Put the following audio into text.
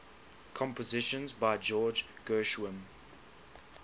compositions by george gershwin